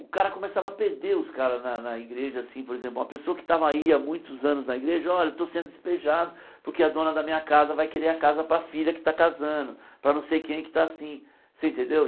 O cara começava a perder os caras na na igreja, assim, por exemplo, uma pessoa que tava aí há muitos anos na igreja, olha, estou sendo despejado porque a dona da minha casa vai querer a casa para a filha que está casando, para não sei quem que está assim, você entendeu?